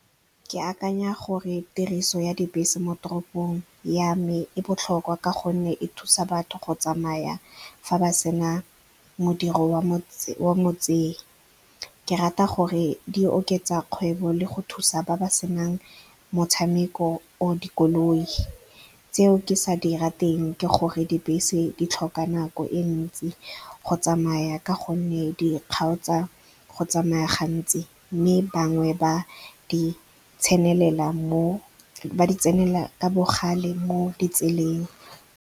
Ke akanya gore tiriso ya dibese mo toropong ya me e botlhokwa ka gonne e thusa batho go tsamaya fa ba sena modiri wa motsei. Ke rata gore di oketsa kgwebo le go thusa ba ba senang motshameko or dikoloi. Tse o ke sa dira teng ke gore dibese di tlhoka nako e ntsi go tsamaya ka gonne di kgaotso tsa go tsamaya gantsi, mme bangwe ba di tsenela ka bogale mo ditseleng.